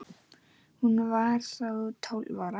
Hún var þá tólf ára.